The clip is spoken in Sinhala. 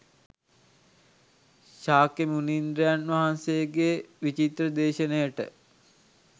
ශාක්‍ය මුනීන්ද්‍රයන් වහන්සේගේ විචිත්‍ර දේශනයට